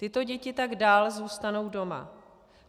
Tyto děti tak dál zůstanou doma.